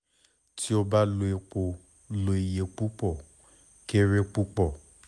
ti o ba lo epo lo iye pupọ kere pupọ